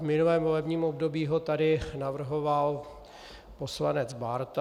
V minulém volebním období ho tady navrhoval poslanec Bárta.